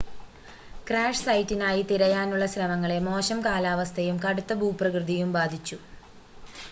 crash സൈറ്റിനായി തിരയാനുള്ള ശ്രമങ്ങളെ മോശം കാലാവസ്ഥയും കടുത്ത ഭൂപ്രകൃതിയും ബാധിച്ചു